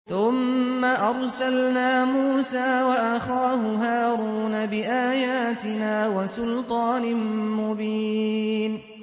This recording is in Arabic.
ثُمَّ أَرْسَلْنَا مُوسَىٰ وَأَخَاهُ هَارُونَ بِآيَاتِنَا وَسُلْطَانٍ مُّبِينٍ